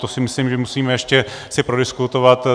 To si myslím, že musíme ještě si prodiskutovat.